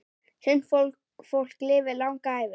Sumt fólk lifir langa ævi.